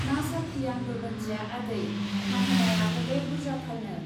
मा साख्रि आंबो मोनथिया आदै, माहेनाया हले बुर्जाथारनो।